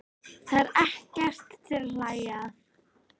Þetta er ekkert til að hlæja að!